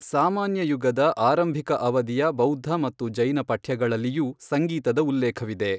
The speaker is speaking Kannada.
ಸಾಮಾನ್ಯ ಯುಗದ ಆರಂಭಿಕ ಅವಧಿಯ ಬೌದ್ಧ ಮತ್ತು ಜೈನ ಪಠ್ಯಗಳಲ್ಲಿಯೂ ಸಂಗೀತದ ಉಲ್ಲೇಖವಿದೆ.